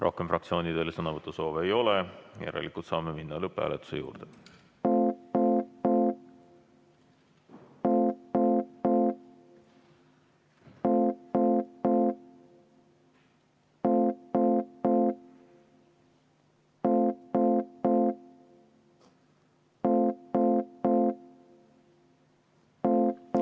Rohkem fraktsioonidel sõnavõtusoove ei ole, järelikult saame minna lõpphääletuse juurde.